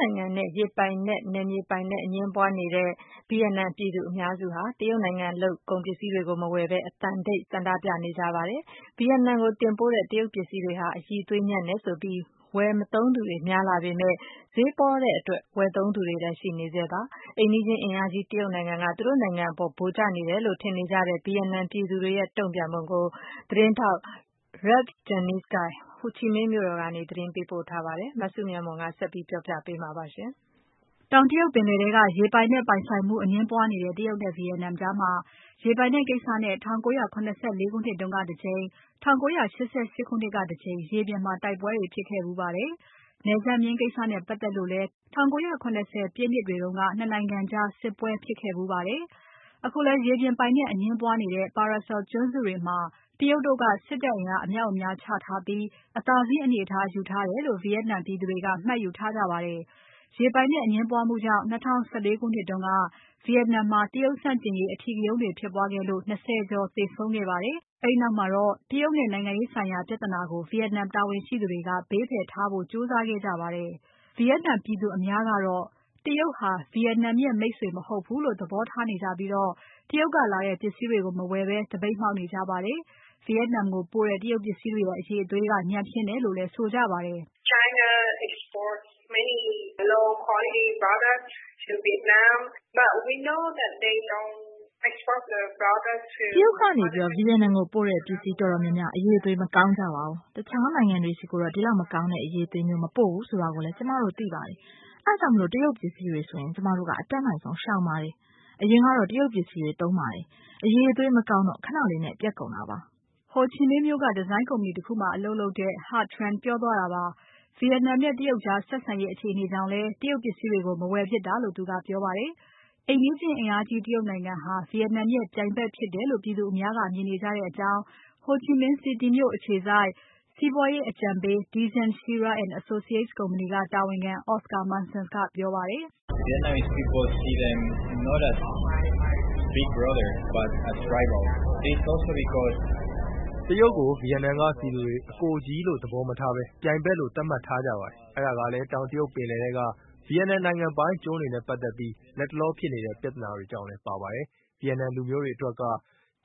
နိုင်ငံနဲ့ ရေပိုင်နက် နယ်မြေပိုင်နက် အငြင်းပွားနေတဲ့ Vietnam နိုင်ငံမှာ ပြည်သူအများစုဟာ တရုတ်နိုင်ငံလုပ်ကုန်ပစ္စည်းတွေကို မဝယ်ဘဲ အသံတိတ် ဆန္ဒပြနေကြပါတယ်။ Vietnam နိုင်ငံကို တင်ပို့တဲ့တရုတ်ပစ္စည်းတွေဟာ အရည်အသွေးညံ့တယ်လို့ဆိုပြီး ဝယ်မသုံးသူတွေများလာပေမဲ့ ဈေးပေါတဲ့အတွက် ဝယ်သုံးနေကြသူတွေလည်းရှိနေဆဲပါ။ အိမ်နီးချင်းအင်အားကြီးတရုတ်နိုင်ငံက သူတို့နိုင်ငံအပေါ် ဗိုလ်ကျနေတယ်လို့ ထင်နေကြတဲ့ Vietnam ပြည်သူတွေရဲ့ တုံ့ပြန်ပုံကို သတင်းထောက် Ralph Jennings က ဟိုချီမင်းမြို့တော်ကနေ သတင်းပေးပို့ထားပါတယ်။ မစုမြတ်မွန်က ဆက်ပြီးတင်ပြပါမယ်။ တောင်တရုတ်ပင်လယ်ထဲက ရေပိုင်နက်ပိုင်ဆိုင်မှု အငြင်းပွားနေတဲ့တရုတ်နဲ့ Vietnam ကြားမှာ ရေပိုင်နက်ကိစ္စနဲ့၁၉၇၄ ခုနှစ်ကတကြိမ် ၁၉၈၈ခုနှစ်ကတကြိမ် ရေပြင်မှာ တိုက်ပွဲတွေဖြစ်ခဲ့ဖူးပါတယ်။ နယ်စပ်မျဉ်းကိစ္စနဲ့ပါတ်သက်လို့လည်း ၁၉၇၀ ပြည်နှစ်တွေတုန်းက ၂ နိုင်ငံကြား စစ်ပွဲဖြစ်ခဲ့ဖူးပါတယ်။ အခုလည်း ရေပြင်ပိုင်နက် အငြင်းပွားနေတဲ့ Paracel ကျွန်းစုတွေမှာ တရုတ်တို့က စစ်တပ်အင်အား အမြောက်အများ ချထားပြီး အသာစီးအနေအထားယူထားတယ်လို့ Vietnam ပြည်သူတွေက မှတ်ယူထားကြပါတယ်။ ရေပိုင်နက်အငြင်းပွားမှုကြောင့် ၂၀၁၄ ခုနှစ်တုန်းက Vietnam မှာ တရုတ်ဆန့်ကျင်ရေးအဓိကရုဏ်းတွေဖြစ်ပွားခဲ့လို့ ၂၀ ကျော်သေဆုံးခဲ့ပါတယ်။ အဲဒီနောက်မှာတော့ တရုတ်နဲ့ နိုင်ငံရေးဆိုင်ရာပြဿနာကို Vietnam တာဝန်ရှိသူတွေက ဘေးဖယ်ထားဖို့ ကြိုးစားခဲ့ကြပါတယ်။ Vietnam ပြည်သူအများကတော့ တရုတ်ဟာ Vietnam ရဲ့မိတ်ဆွေမဟုတ်ဘူးလို့ သဘောထားနေကြပြီး တရုတ်ကလာတဲ့ ပစ္စည်းတွေကို မဝယ်ဘဲ သပိတ်မှောက်နေကြပါတယ်။ Vietnam ကိုပို့တဲ့ တရုတ်ပစ္စည်းတွေရဲ့ အရည်အသွေးက ညံ့ဖျင်းတယ်လို့လည်း ဆိုကြပါတယ်။ "တရုတ်ကနေ Vietnam ကိုပို့တဲ့ ပစ္စည်းတော်တော်များများ အရည်အသွေး မကောင်းကြပါဘူး။ တခြားနိုင်ငံတွေဆီကိုတော့ ဒီလောက်မကောင်းတဲ့ အရည်အသွေးမျိုး မပို့ဘူးဆိုတာကိုလည်း ကျွန်မတို့သိပါတယ်။ အဲဒါကြောင့် တရုတ်ပစ္စည်းတွေဆို ကျွန်မတို့က အတတ်နိုင်ဆုံး ရှောင်ပါတယ်။ အရင်ကတော့ တရုတ်ပစ္စည်းတွေသုံးပါတယ်။ အရည်အသွေးမကောင်းတော့ ခဏလေးနဲ့ပျက်ကုန်ပါတယ်။" Ho Chi Minh မြို့က ဒီဇိုင်းကုမ္ပဏီတခုမှာအလုပ်လုပ်တဲ့ Ha Tran ပြောပြတာပါ။ Vietnam နဲ့ တရုတ်ကြားဆက်ဆံရေးအခြေအနေကြောင့်လည်း တရုတ်ပစ္စည်းတွေကို မဝယ်ဖြစ်တာလို့သူကပြောပါတယ်။ အိမ်နီးချင်း အင်အားကြီးတရုတ်နိုင်ငံဟာ Vietnam ရဲ့ပြိုင်ဖက်ဖြစ်တယ်လို့ ပြည်သူအများက မြင်နေကြတယ်လို့ Ho Chi Minh City မြို့အခြေစိုက် စီးပွားရေးအကြံပေး Dezan Shira & Associates ကုမ္ပဏီက တာဝန်ခံ Oscar Mussons ကပြောပါတယ်။ "တရုတ်ကို Vietnam ပြည်သူတွေက အကိုကြီးလို့သဘောမထားဘဲ ပြိုင်ဖက်လို့သတ်မှတ်ထားကြပါတယ်။ အဲဒါကလည်း တောင်တရုတ်ပင်လယ်ထဲက Vietnam နိုင်ငံပိုင်ကျွန်းတွေနဲ့ပါတ်သက်ပြီး လတ်တလောဖြစ်နေတဲ့ ပြဿနာတွေကြောင့်လည်းပါပါတယ်။ Vietnam လူမျိုးတွေအတွက်က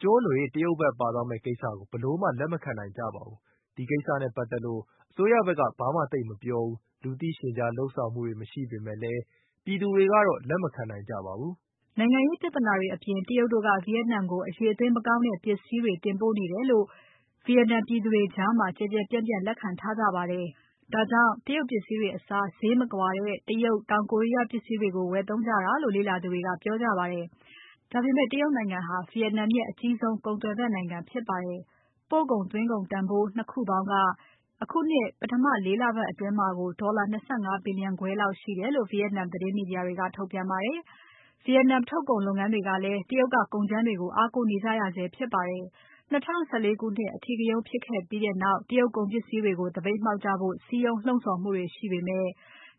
ကျွန်းတွေ တရုတ်ဖက်ပါသွားမယ့်ကိစ္စကို ဘယ်လိုမှ လက်မခံနိုင်ကြပါဘူး။ ဒီကိစ္စနဲ့ပါတ်သက်လို့ အစိုးရဖက်က ဘာမှသိပ်မပြောဘူး။ လူသိရှင်ကြား လုပ်ဆောင်မှုတွေမရှိပေမဲ့လည်း ပြည်သူတွေကတော့ လက်မခံနိုင်ကြပါဘူး။" နိုင်ငံရေးပြဿနာတွေအပြင် တရုတ်တို့က Vietnam ကို အရည်အသွေး မကောင်းတဲ့ပစ္စည်းတွေ တင်ပို့နေတယ်လို့ Vietnam ပြည်သူတွေကြားမှာ ကျယ်ကျယ်ပြန့်ပြန့် လက်ခံထားကြပါတယ်။ ဒါကြောင့် တရုတ်ပစ္စည်းတွေအစား ဈေးမကွာတဲ့ ဂျပန်။ တောင်ကိုရီးယားပစ္စည်းတွေကို ဝယ်သုံးကြတယ်လို့ လေ့လာသူတွေက ပြောကြပါတယ်။ ဒါပေမဲ့ တရုတ်နိုင်ငံဟာ Vietnam ရဲ့အကြီးဆုံး ကုန်သွယ်ဖက်နိုင်ငံဖြစ်ပါတယ်။ ပို့ကုန်။ သွင်းကုန်တန်ဖိုး ၂ ခုပေါင်းက ဒီနှစ်ပထမ ၄ လအတွင်းမှာကို ဒေါ်လာ ၂၅ ဘီလျံခွဲလောက်ရှိတယ်လို့ Vietnam သတင်းမီဒီယာတွေမှာ ထုတ်ပြန်ကြပါတယ်။ Vietnam ထုတ်ကုန်လုပ်ငန်းတွေကလည်း တရုတ်က ကုန်ကြမ်းတွေကို အားကိုးနေကြရဆဲဖြစ်ပါတယ်။ ၂၀၁၄ ခုနှစ်အထိကရုန်းဖြစ်ပြီးနောက် တရုတ်ကုန်ပစ္စည်းတွေကို သပိတ်မှောက်ကြဖို့ စည်းရုံးလှုံ့ဆော်မှုတွေရှိပေမဲ့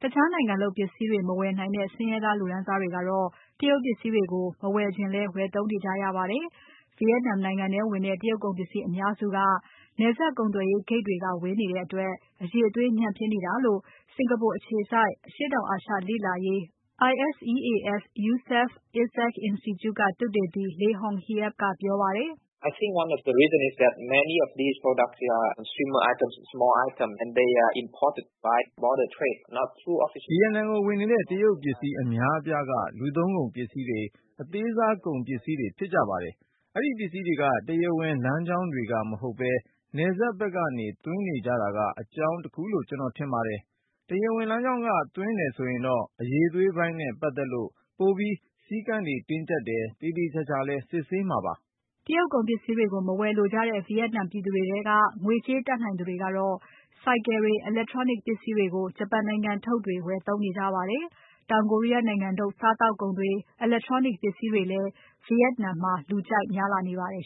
တခြားနိုင်ငံလုပ်ပစ္စည်းတွေ မဝယ်နိုင်တဲ့ ဆင်းရဲသားလူတန်းစားတွေကတော့ တရုတ်ပစ္စည်းတွေကိုပဲ မဝယ်ချင်လည်း ဝယ်သုံးနေကြရပါတယ်။ Vietnam နိုင်ငံထဲဝင်တဲ့ တရုတ်ကုန်ပစ္စည်းအများစုက နယ်စပ်ကုန်သွယ်ရေးဂိတ်တွေက ဝင်နေတဲ့အတွက် အရည်အသွေး ညံ့ဖျင်းနေတာဖြစ်တယ်လို့ စင်္ကာပူအခြေစိုက် အရှေ့တောင်အာရှလေ့လာရေး ISEAS Yusof Ishak Institute ကသုတေသီ Le Hong Hiep ကပြောပါတယ်။ "Vietnam ကိုဝင်နေတဲ့ တရုတ်ပစ္စည်းအများအပြားက လူသုံးကုန်ပစ္စည်းတွေ။ အသေးစားကုန်ပစ္စည်းတွေဖြစ်ကြပါတယ်။ အဲဒီပစ္စည်းတွေက တရားဝင်လမ်းကြောင်းတွေက မဟုတ်ဘဲ နယ်စပ်ဖက်ကနေသွင်းနေကြတာက အကြောင်းတခုလို့ ကျွန်တော်ထင်ပါတယ်။ တရားဝင်လမ်းကြောင်းက သွင်းတယ်ဆိုရင်တော့ အရည်အသွေးပိုင်းနဲ့ပါတ်သက်လို့ ပိုပြီးစည်းကမ်းတွေ တင်းကြပ်တယ်။ သေသေချာချာလည်း စစ်ဆေးမှာပါ။" တရုတ်ကုန်ပစ္စည်းတွေကို မဝယ်လိုကြတဲ့ Vietnam ပြည်သူတွေထဲက ငွေကြေးတတ်နိုင်သူတွေကတော့ ဆိုင်ကယ်တွေ။ Electronic ပစ္စည်းတွေကို ဂျပန်နိုင်ငံထုတ်တွေဝယ်သုံးနေကြပါတယ်။ တောင်ကိုရီးယားနိုင်ငံထုတ် စားသောက်ကုန်တွေနဲ့ Electronic ပစ္စည်းတွေလည်း Vietnam မှာ လူကြိုက်များလာနေပါတယ်